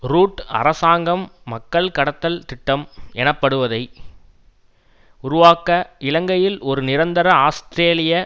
root அரசாங்கம் மக்கள் கடத்தல் திட்டம் எனப்படுவதை உருவாக்க இலங்கையில் ஒரு நிரந்தர ஆஸ்திரேலிய